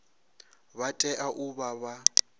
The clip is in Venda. vha tea u vha vha